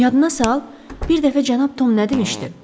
Yadına sal, bir dəfə cənab Tom nə demişdi?